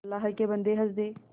अल्लाह के बन्दे हंस दे